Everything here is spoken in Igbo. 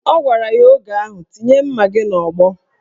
Ọ gwara ya oge ahụ "Tinye mma gị n'ọgbọ"